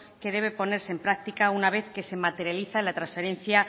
que debe ponerse en práctica una vez que se materialice la transferencia